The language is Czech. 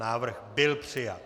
Návrh byl přijat.